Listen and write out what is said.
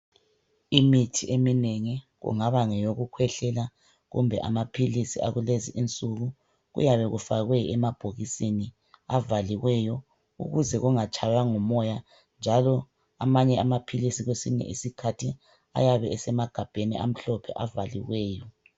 Imithi eminengi kungaba ngeyokukhwehlela kumbe amaphilisi akulezi nsuku kuyabekufakwe emabhokisini avaliweyo ukuze angatshywa ngumoya njalo amanye amaphilisi kwesinye isikhathi ayabe esemagabheni amhlophe avaliweyo.